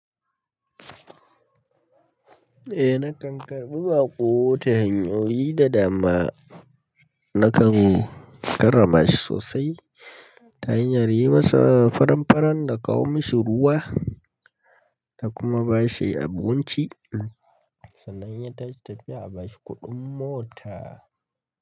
Eh nakan karɓi baƙo ta hanyoyi da dama, naka karrama shi sosai ta hanyar yi masa faran-faran da kawo mishi ruwa da kuma ba shi abunci sannan in yatashi tafiya abashi kuɗin mota.